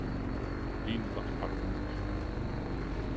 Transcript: Lige nu var han ret modløs.